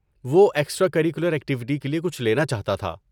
وہ extra curricular activity کے لیے کچھ لینا چاہتا تھا۔